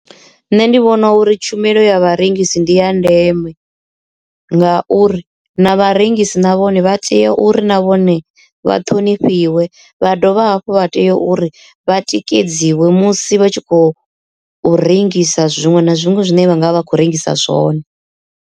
Nṋe ndi vhona uri tshumelo ya vharengisi ndi ya ndeme ngauri na vharengisi na vhone vha tea uri na vhone vha ṱhonifhiwa vha dovha hafhu vha tea uri vha tikedziwi musi vha tshi khou rengisa zwiṅwe na zwiṅwe zwine vha nga vha khou rengisa zwone.